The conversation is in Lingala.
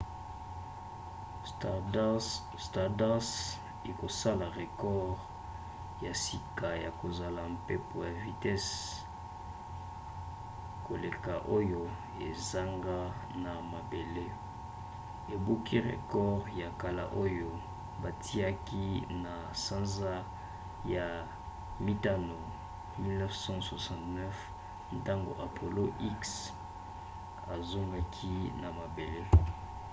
stardust ekosala record ya sika ya kozala mpepo ya vitese koleka oyo ezonga na mabele ebuki record ya kala oyo batiaki na sanza ya mitano 1969 ntango apollo x azongaki na mabele